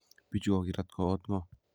Bichu kokirat ko ot ngo.